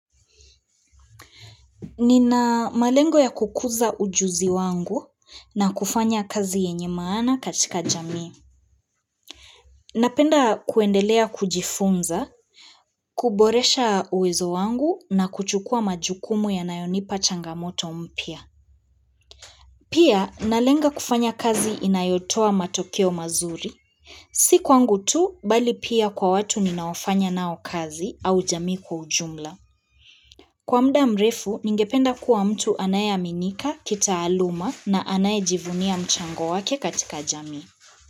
Nina malengo ya kukuza ujuzi wangu na kufanya kazi yenye maana katika jamii. Napenda kuendelea kujifunza, kuboresha uwezo wangu na kuchukua majukumu yanayonipa changamoto mpya. Pia, nalenga kufanya kazi inayotoa matokeo mazuri. Si kwangu tu, bali pia kwa watu ninaofanya nao kazi au jamii kwa ujumla. Kwa muda mrefu, ningependa kuwa mtu anayeaminika, kitaaluma na anayejivunia mchango wake katika jamii.